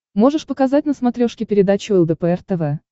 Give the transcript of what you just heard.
можешь показать на смотрешке передачу лдпр тв